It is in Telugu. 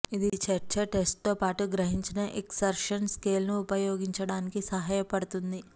ఇది చర్చ టెస్ట్తో పాటు గ్రహించిన ఎక్సర్షన్ స్కేల్ను ఉపయోగించడానికి సహాయపడుతుంది